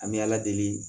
An bɛ ala deli